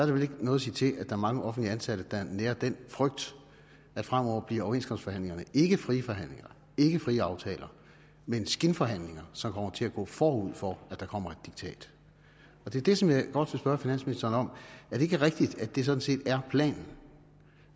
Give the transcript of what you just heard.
vel ikke noget at sige til at der er mange offentligt ansatte der nærer den frygt at fremover bliver overenskomstforhandlingerne ikke frie forhandlinger ikke frie aftaler men skinforhandlinger som kommer til at gå forud for at der kommer et diktat det er det som jeg godt vil spørge finansministeren om er det ikke rigtigt at det sådan set er planen